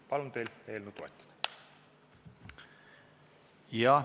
Palun teid eelnõu toetada!